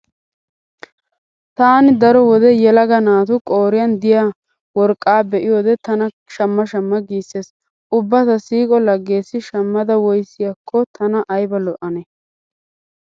Taani daro wode yelaga naatu qooriyan diya worqqaa be'iyode tanakka shamma shamma giissees. Ubba ta siiqo laggeessi shammada woyissiyakko tana ayba lo'anee?